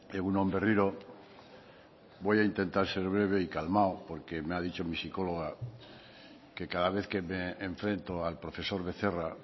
egun on berriro voy a intentar ser breve y calmado porque me ha dicho mi psicóloga que cada vez que me enfrento al profesor becerra